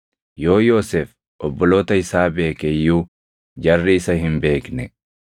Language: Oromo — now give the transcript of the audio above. Yoo Yoosef obboloota isaa beeke iyyuu jarri isa hin beekne.